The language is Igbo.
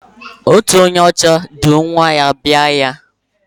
Otu onye ọcha du nwa ya jee ahịa.